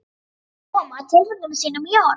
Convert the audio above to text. inn kann að koma tilfinningum sínum í orð.